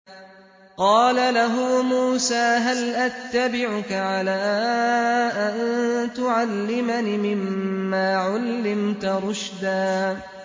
قَالَ لَهُ مُوسَىٰ هَلْ أَتَّبِعُكَ عَلَىٰ أَن تُعَلِّمَنِ مِمَّا عُلِّمْتَ رُشْدًا